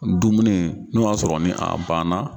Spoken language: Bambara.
Dumuni n'i o y'a sɔrɔ ni a banna.